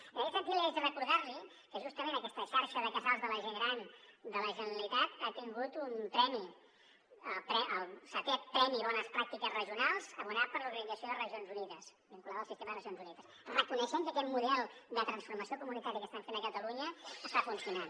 i en aquest sentit haig de recordar li que justament aquesta xarxa de casals de la gent gran de la generalitat ha tingut un premi el vii premi bones pràctiques regionals abonat per l’organització de regions unides vinculada al sistema de nacions unides reconeixent que aquest model de transformació comunitària que estem fent a catalunya està funcionant